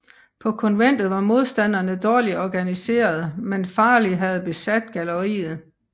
På konventet var modstanderne dårligt organiserede men Farley havde besat galleriet